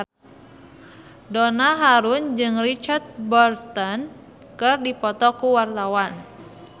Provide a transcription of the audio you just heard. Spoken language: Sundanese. Donna Harun jeung Richard Burton keur dipoto ku wartawan